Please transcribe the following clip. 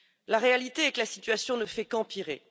La réalité est que la situation ne fait qu'empirer.